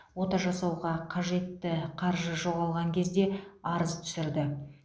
ота жасауға қажетті қаржы жоғалған кезде арыз түсірді